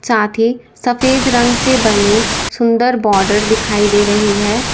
साथ ही सफेद रंग से बनी सुंदर बॉर्डर दिखाई दे रही है।